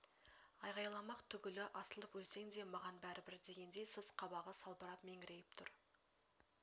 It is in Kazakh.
айғайламақ түгілі асылып өлсең де маған бәрібір дегендей сыз қабағы салбырап меңірейіп тұр